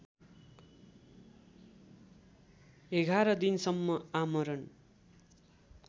११ दिनसम्म आमरण